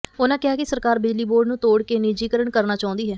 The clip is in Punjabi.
ਉਨ੍ਹਾਂ ਕਿਹਾ ਕਿ ਸਰਕਾਰ ਬਿਜਲੀ ਬੋਰਡ ਨੂੰ ਤੋੜ ਕੇ ਨਿੱਜੀਕਰਨ ਕਰਨਾ ਚਾਹੁੰਦੀ ਹੈ